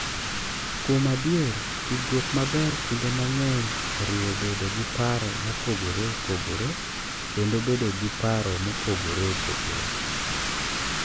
Kuom adier, tudruok maber kinde mang’eny oriwo bedo gi paro mopogore opogore kendo bedo gi paro mopogore opogore.